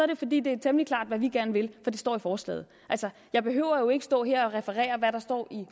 det fordi det er temmelig klart hvad vi gerne vil for det står i forslaget jeg behøver jo ikke stå her og referere hvad der står i